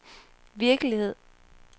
virkelighed